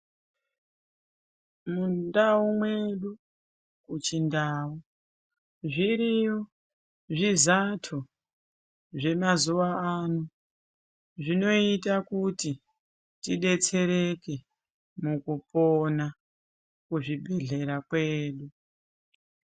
Mundau mwedu kuchindau zviriyo zvizato zvemazuwa ano zvinoita kuti tidetsereke mukupona kuzvibhendlera kwedu.